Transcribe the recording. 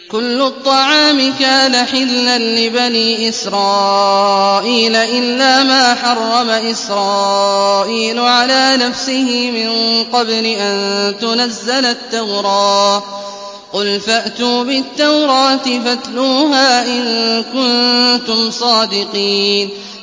۞ كُلُّ الطَّعَامِ كَانَ حِلًّا لِّبَنِي إِسْرَائِيلَ إِلَّا مَا حَرَّمَ إِسْرَائِيلُ عَلَىٰ نَفْسِهِ مِن قَبْلِ أَن تُنَزَّلَ التَّوْرَاةُ ۗ قُلْ فَأْتُوا بِالتَّوْرَاةِ فَاتْلُوهَا إِن كُنتُمْ صَادِقِينَ